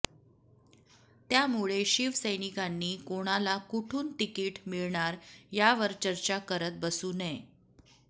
त्यामुळे शिवसैनिकांनी कोणाला कुठून तिकीट मिळणार यावर चर्चा करत बसू नये